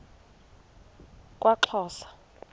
kwaxhosa